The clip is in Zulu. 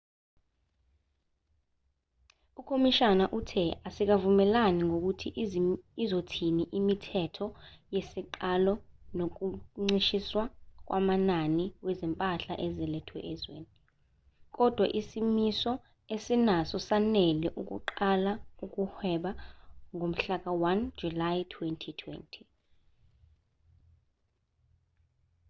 ukhomishana uthe asikavumelani ngokuthi izothini imithetho yesiqalo nokuncishiswa kwamanani wezimpahla ezilethwa ezweni kodwa isimiso esinaso sanele ukuqala ukuhweba ngomhlaka-1 july 2020